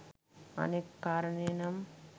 අනෙක් කාරණය නම්